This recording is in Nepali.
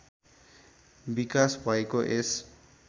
विकास भएको यस